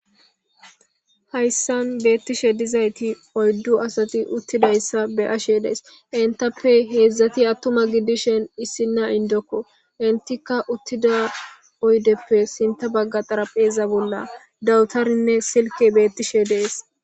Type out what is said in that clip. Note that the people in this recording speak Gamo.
Hayssan beettishe dizayti oyddu asati uttidayssa be ashe dees entappe heedzdzati attuma giddishen issinna indokko entikka uttida oydeppe sinta bagga xarapheeza bolla dawutarinne silke beettishe dees,